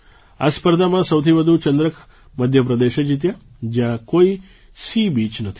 આ સ્પર્ધામાં સૌથી વધુ ચંદ્રક મધ્ય પ્રદેશે જીત્યા જ્યાં કોઈ સી બીચ નથી